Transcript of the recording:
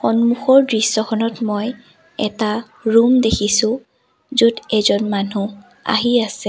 সন্মুখৰ দৃশ্যখনত মই এটা ৰুম দেখিছোঁ য'ত এজন মানুহ আহি আছে।